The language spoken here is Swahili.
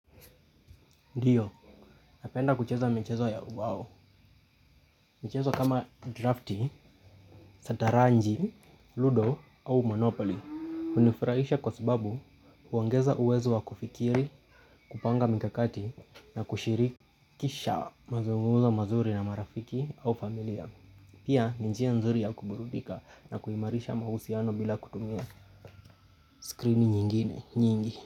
Ndiyo, napenda kucheza michezo ya uwao. Michezo kama drafti, santaranji, ludo au monopoly. Unafurahisha kwa sababu waongeza uwezo wa kufikiri, kupanga mikakati na kushirikisha mazungumzo mazuri na marafiki au familia. Pia ni njia nzuri ya kuburudika na kuimarisha mahusiano bila kutumia screen nyingine, nyingi.